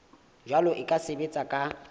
jalwa e ka sebetswa ka